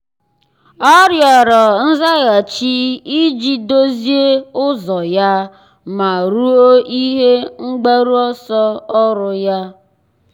ọ́ rịọ̀rọ̀ nzaghachi iji dòzìé ụ́zọ́ ya ma rúó ihe mgbaru ọsọ ọ́rụ́ ya.